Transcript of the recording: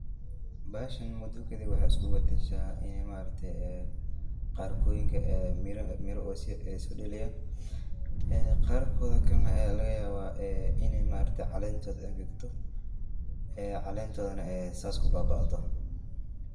Meshan mudo kadib waxay iskubadasha ini maarakte ee, qarkoyinka ay miraa ay sodaliyan, qaarkodhi kale na aya lagayawa ini maarkate calentodh ingegto, een calentoda nah ay sas kubaabaado,